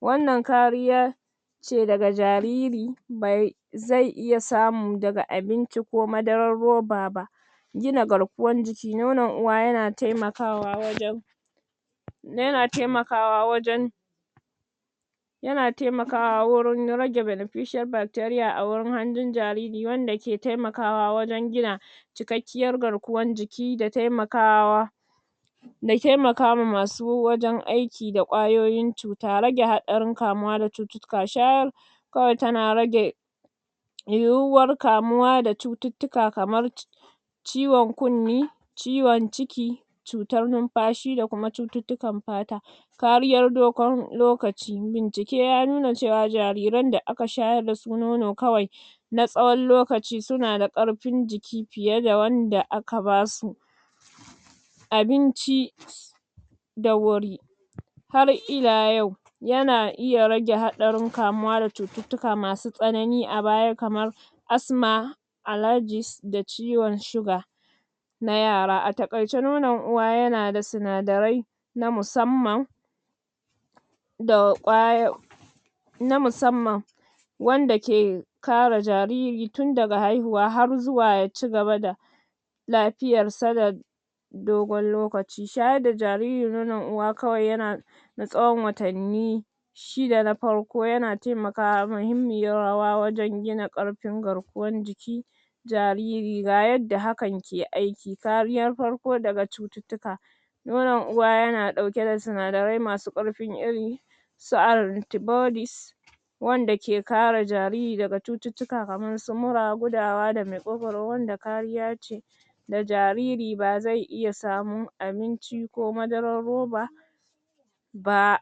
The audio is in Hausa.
Wannan kariya,? ce daga jariri, bai, zai iya samu daga abinci ko madarar ruba ba.? Gina garkuwan jiki. Nonon uwa ya na taimakawa wajan,? ya na taimakawa wajan,? ya na taimakawa wurin rage beneficial bacteria a wurin handin jaririwanda ke taimakawa wajan gina,? cikakkiyar garkuwar jiki da tai makawa,? da taimaka wa ma su wajan aiki da ƙwayoyin cuta. Rage haɗarin kamuwa da cututtuka. Shayar,? kawai ta na rage,? yuyuwar kamuwa da cututtuka kamar,? ciwon kunne, ciwon ciki,? cutar nifashi da kuma cututtukar fata.? Kariyar dogon lokaci. Bincike ya nuna cewa jarirran da a ka shayar da su nono kawai,? na tsayon lokaci su na da karfin jiki fiye da wanda a ka basu,? abinci,? da wuri.? Har ila yau,? ya na iya rage hadarin kamu da cututtuka masu tsanani a baya kamar,? Asma,? alargis da ciwon sugar,? na yara. A taƙaice nonon uwa ya na da sinarai,? na musamman,??? na musamman,? wanda ke kare jariri tun daga haihuwa harzuwa ya cigaba da,? lafiyar sa da,? dogon lokaci. Shayar da jariri nonon uwa yana kawai ya na,? na tsayon watanni,? shi ne na farko, yana taimakawa mahimmiyar rawa wajan gina ƙarfin garkuwar jiki,? jariri. Ga yadda hakan ke aiki. Kariyan farko daga cututtuka.? Nonon uwa ya na ɗauke da sinadarai masu ƙarfin iri,? su anti-bodies,? wanda ke kare jariri daga cututtuka kamar su mura gudawa da maƙogaru wanda kariya ce,? da jariri bazai iya samun abinci ko madarar ruba,? ba.?